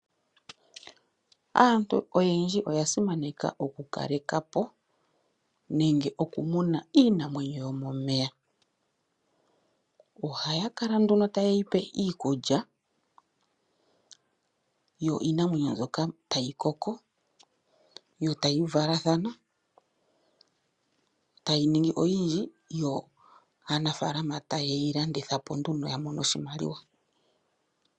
Aantu oyendji oya simaneka oku kalekapo nenge oku muna iinamwenyo yomomeya. Ohaya kala nduno taye yi pe iikulya, yo iinamwenyo mbyoka tayi koko e tayi valathana e tayi ningi oyindji, yo aanafaalama taye yi landitha po nduno ya mone oshimaliwa.